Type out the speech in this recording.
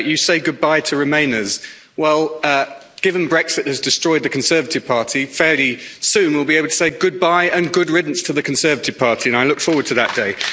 You say goodbye to remainers'. Well, given Brexit has destroyed the Conservative Party, fairly soon we'll be able to say goodbye and good riddance to the Conservative Party', and I look forward to that day.